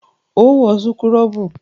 Óò wọ súkúrọ́bù!